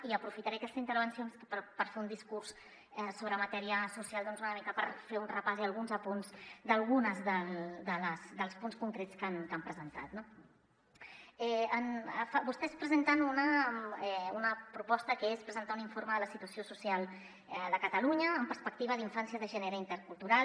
i aprofitaré aquesta intervenció per fer un discurs sobre matèria social una mica per fer·ne un repàs i alguns apunts d’alguns dels punts concrets que han presentat no vostès presenten una proposta que és presentar un informe de la situació social de catalunya amb perspectiva d’infància de gènere i intercultural